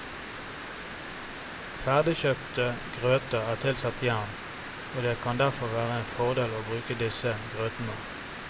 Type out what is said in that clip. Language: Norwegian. Ferdigkjøpte grøter er tilsatt jern, og det kan derfor være en fordel å bruke disse grøtene.